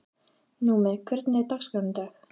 Númi, hvernig er dagskráin í dag?